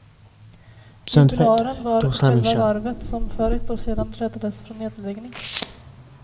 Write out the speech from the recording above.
Jubilaren var själva varvet, som för ett år sedan räddades från nedläggning.